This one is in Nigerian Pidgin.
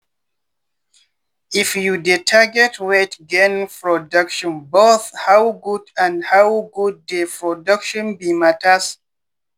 if you dey target weight gain productionboth how good and how good dey production be matters.